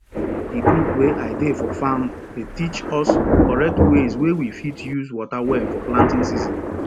di group wey i dey for farm dey teach us correct ways wey we fit use water well for planting season